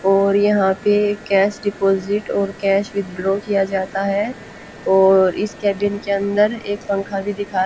और यहां पे कैश डिपॉजिट और कैश विथड्रॉ किया जाता है और इस कैबिन के अंदर एक पंखा भी दिखा --